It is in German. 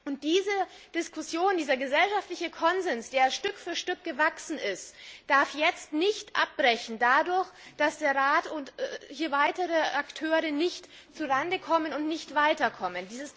Und diese Diskussion, dieser gesellschaftliche Konsens, der Stück für Stück gewachsen ist, darf jetzt nicht abbrechen, nur deshalb, weil der Rat und weitere Akteure nicht zu Rande kommen und nicht weiterkommen.